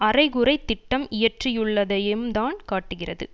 அரை குறைத் திட்டம் இயற்றியுள்ளதையும் தான் காட்டுகிறது